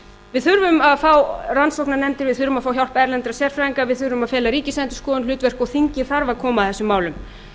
við þurfum að fá rannsóknarnefndir við þurfum að fá hjálp erlendra sérfræðinga við þurfum að fela ríkisendurskoðun hlutverk og þingið þarf að koma að þessum málum